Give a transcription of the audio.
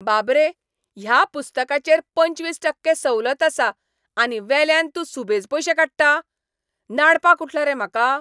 बाब रे! ह्या पुस्तकाचेर पंचवीस टक्के सवलत आसा, आनी वेल्यान तूं सुबेज पयशे काडटा? नाडपाक उठला रे म्हाका?